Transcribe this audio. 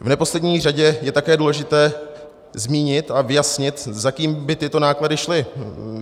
V neposlední řadě je také důležité zmínit a vyjasnit, za kým by tyto náklady šly.